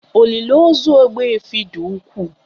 Olili ozu Ogbuefi dị ukwuu